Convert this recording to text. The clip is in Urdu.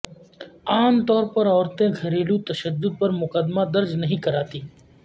عام طور پر عورتیں گھریلو تشدد پرمقدمہ درج نہیں کراتیں